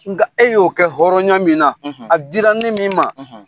Nga e y'o kɛ hɔrɔnya min na, a dira ne min ma .